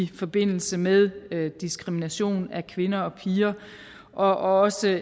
forbindelse med diskrimination af kvinder og piger og også